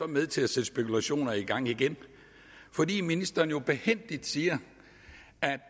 med til at sætte spekulationer i gang igen fordi ministeren jo er behændig og siger at